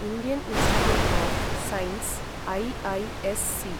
Indian institute of science IISc